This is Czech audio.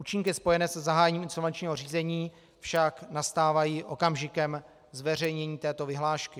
Účinky spojené se zahájením insolvenčního řízení však nastávají okamžikem zveřejnění této vyhlášky.